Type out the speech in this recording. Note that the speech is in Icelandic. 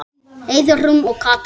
Heiðrún og Katrín.